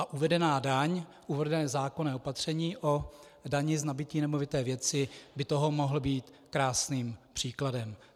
A uvedená daň, uvedené zákonné opatření o dani z nabytí nemovité věci by toho mohlo být krásným příkladem.